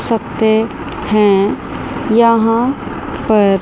सकते हैं यहां पर--